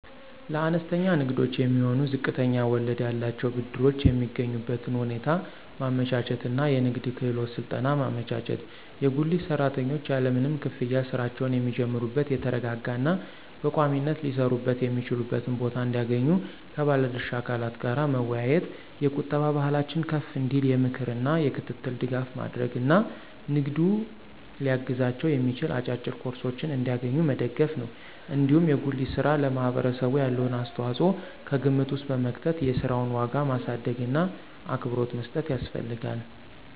ለአነስተኛ ንግዶች የሚሆኑ ዝቅተኛ ወለድ ያላቸውን ብድሮች የሚያገኙበትን ሁኔታ ማመቻቸት እና የንግድ ክህሎት ስልጠና ማመቻቸት፣ የጉሊት ሰራተኞች ያለምንም ክፍያ ሥራቸውን የሚጀምሩበት የተረጋጋ እና በቋሚነት ሊሰሩበት የሚችሉበትን ቦታ እንዲያገኙ ከባለ ድርሻ አካላት ጋር መወያየት፣ የቁጠባ ባህላቸው ከፍ እንዲል የምክር እና የክትትል ድጋፍ ማድረግ እና ንግዱን ሊያግዛቸው የሚችል አጫጭር ኮርሶችን እንዲያገኙ መደገፍ ነው። እንዲሁም የጉሊት ሥራ ለማህበረሰቡ ያለውን አስተዋጽኦ ከግምት ውስጥ በመክተት የሥራውን ዋጋ ማሳደግእና አክብሮት መስጠት ያስፈልጋል።